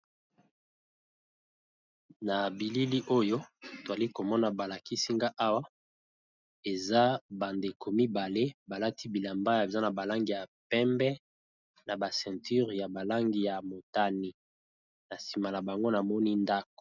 Na bilili oyo nazali komona balakisi nga awa eza ba ndeko mibale balati bilamba eza na langi ya pembe ceinture ya langi ya motane sima na bango namoni ndako.